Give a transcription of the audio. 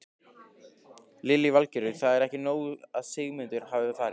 Lillý Valgerður: Það er ekki nóg að Sigmundur hafi farið?